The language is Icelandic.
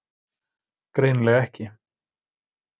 Greinilega ekki.